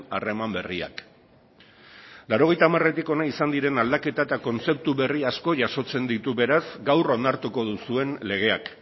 harreman berriak laurogeita hamaretik hona izan diren aldaketa eta kontzeptu berri asko jasotzen ditu beraz gaur onartuko duzuen legeak